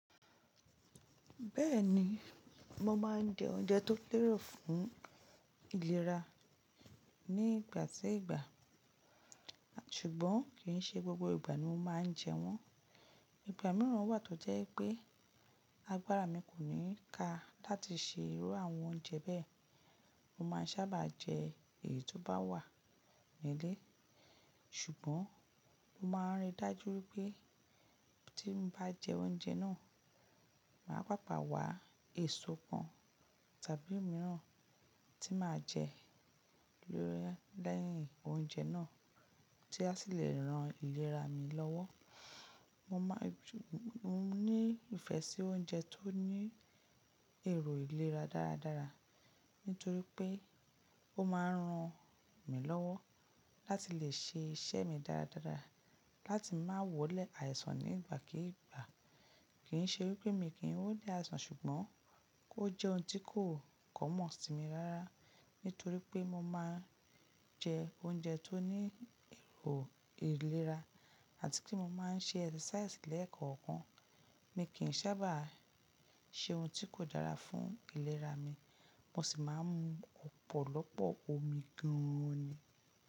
Bẹ́ẹ̀ni, mo máa ń jẹ oúnjẹ tó pínrọ̀ fún ìlera nígbà sí ìgbà, ṣùgbọ́n kì í ṣe gbogbo ìgbà ni mo máa ń jẹ wọ́n. Ìgbà mìíràn wà tó jẹ́ pé agbára mi kò ní ka láti se irú àwọn oúnjẹ bẹ́ẹ̀. Mo máa ń sábà jẹ èyí tó bá wà nílé, ṣùgbọ́n mo máa ń rí i dájú pé tí mo bá jẹ oúnjẹ náà, màá pàpà wá èso kan tàbí mìíràn tí màá jẹ lẹ́yìn oúnjẹ náà tí a sì lè ran ìlera mi lọ́wọ́. Mo ní ìfẹ́ sí oúnjẹ tó ní èrò ìlera dáradára nítorí pé ó máa ń ran mi lọ́wọ́ láti lè ṣe iṣẹ́ mi dáradára, láti má wọlé àìsàn nígbà kì í gbà. Kì í ṣe wípé mi kì í wọlé àìsàn ṣùgbọ́n kó jẹ́ ohun tí kò common sí mi rárá nítorí pé mo máa ń jẹ oúnjẹ tó ní èrò ìlera àti kí mo máa ń ṣe exercise lẹ́ẹ̀kọ̀ọ̀kan. Mi kì í sábà ṣe ohun tí kò dára fún ìlera mi. Mo sì máa ń mu ọ̀pọ̀lọpọ̀ omi gan-an ni.